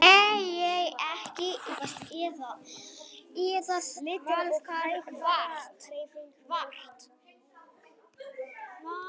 Lítil og hægfara hreyfing vekur það lítinn svigkraft að hans verður ekki eða varla vart.